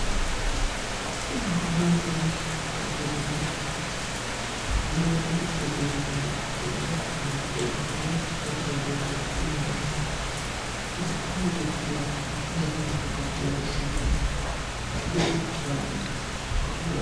borrote uduunne borrote uduunni hoogiro mitte borro borrote diyinanni uduunnu hoogiro borrono borreessine di anfanni.